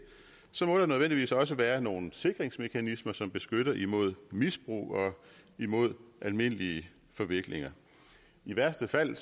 må der nødvendigvis også være nogle sikringsmekanismer som beskytter imod misbrug og imod almindelige forviklinger i værste fald